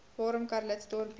waarom calitzdorp beter